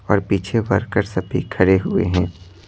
और पीछे वर्कर सभी खड़े हुए हैं।